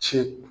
Ci